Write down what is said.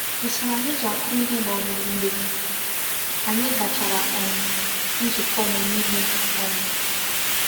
Ụ́sọ̀rọ̀ anyị ji akwụ ihe gbanwere mgbe anyị gachàrà um nzukọ́ ọ́mụ́mụ́ ihe. um